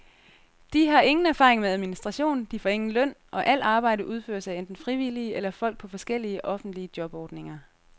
De har ingen erfaring med administration, de får ingen løn, og al arbejde udføres af enten frivillige eller folk på forskellige, offentlige jobordninger.